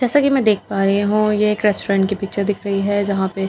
जैसा की मैं देख पा रही हूँ ये एक रेस्टोरेंट की पिक्चर दिख रही हैं यहां पे कुछ --